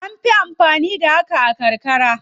An fi amfani da hakan a karkara.